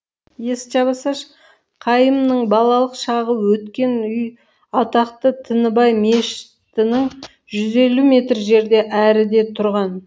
есікті жаба салшы қайымның балалық шағы өткен үй атақты тінібай мешітінің жүз елу метр жерде әріде тұрған